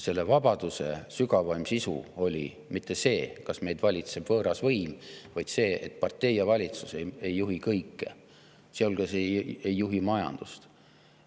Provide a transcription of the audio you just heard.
Selle vabaduse sügavaim sisu ei olnud mitte see, kas meid valitseb võõras võim, vaid see, et partei ja valitsus ei juhi kõike, sealhulgas ei juhi majandust.